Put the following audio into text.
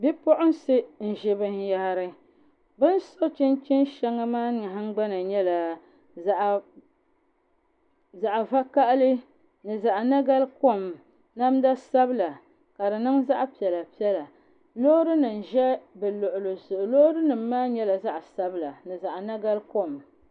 Bipuɣunsi n ʒi binyahari bin so chinchin shɛŋa maa nahangbana nyɛla zaɣ vakaɣali ni zaɣ nagari kom namda sabila ka di niŋ zaɣ piɛla piɛla loori nim ʒɛ bi luɣuli zuɣu loori nim maa nyɛla zaɣ sabila ni zaɣ nagari kom